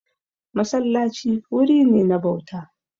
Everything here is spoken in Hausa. Masallaci wuri ne na bauta.